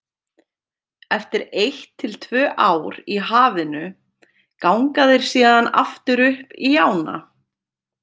Eftir eitt til tvö ár í hafinu ganga þeir síðan aftur upp í ána.